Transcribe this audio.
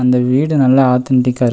இந்த வீடு நல்லா ஆதென்டிக்கா இருக்--.